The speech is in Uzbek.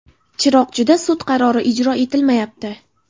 Chiroqchida sud qarori ijro etilmayapti.